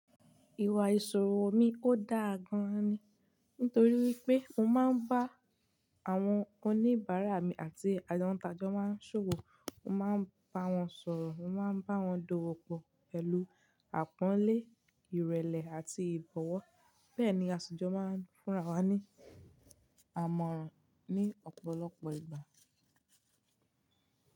Ìwà ìṣòro mi ò dáa gan-an ni. Nítorí pé mo máa ń bá àwọn oníbàárà mi àti àwọn tájọ máa ń ṣòro, mo máa ń bá wọn sọ̀rọ̀, mo máa ń bá wọn d'ówó pọ̀ pẹ̀lú àpọ́nlé, ìrẹ̀lẹ̀ àti ìbọ̀wọ́. Bẹ́ẹ̀ ni aṣi jọ̀ máa ń fúnra wa ní àmọ̀ràn ní ọ̀pọ̀lọpọ̀ ìgbà.